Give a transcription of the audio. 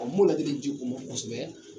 n b'o laadili ji u mɔ kɔ kosɛbɛ.